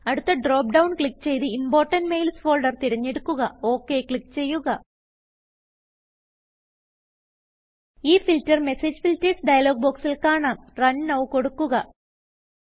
അടുത്ത drop down click ചെയ്ത് important mails folder തിരഞ്ഞെടുക്കുക OK ക്ലിക്ക് ചെയ്യുക ഈ ഫിൽട്ടർ മെസേജ് Filtersഡയലോഗ് ബോക്സിൽ കാണാം Run Nowകൊടുക്കുക